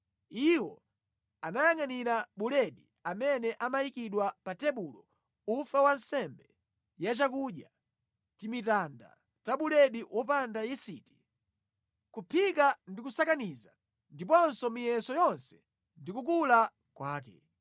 Iwo amayangʼanira buledi amene amayikidwa pa tebulo, ufa wa nsembe yachakudya, timitanda ta buledi wopanda yisiti: kuphika ndi kusakaniza, ndiponso miyeso yonse ndi kukula kwake.